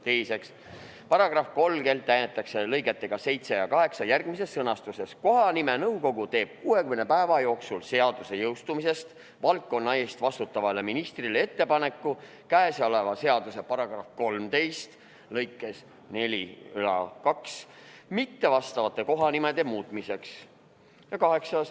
" Teiseks, § 30 täiendatakse lõigetega 7 ja 8 järgmises sõnastuses: "Kohanimenõukogu teeb 60 päeva jooksul seaduse jõustumisest valdkonna eest vastutavale ministrile ettepanekud käesoleva seaduse § 13 lõikele 42 mittevastavate kohanimede muutmiseks.